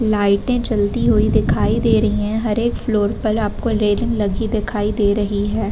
लाइटे चलती हुई दिखाई दे रही हैं। हर एक फ्लोर पर आपको रेलिंग लगी दिखाई दे रही है।